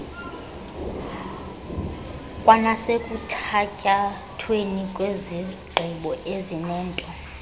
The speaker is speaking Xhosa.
kwanasekuthatyathweni kwezigqibo ezinento